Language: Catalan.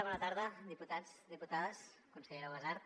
bona tarda diputats diputades consellera ubasart